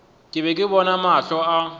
be ke bona mahlo a